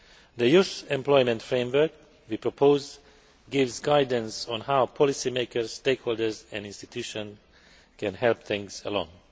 The Youth Employment Framework we propose gives guidance on how policy makers, stakeholders and institutions can help things along.